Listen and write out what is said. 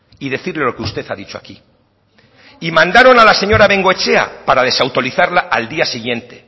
y decirle lo que usted ha dicho aquí y mandaron a la señora bengoechea para desautorizarla al día siguiente